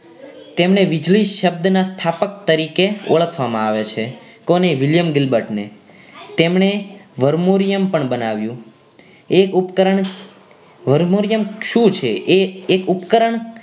તેમણે વીજળી શબ્દના સ્થાપક તરીકે ઓળખવામાં આવે છે કોને William Dilbard ને તેમણે વરમોરિયમ પણ બનાવ્યું. એ ઉપકરણ વરમોરિયમ શું છે એ એક ઉપકરણ